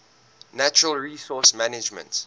natural resource management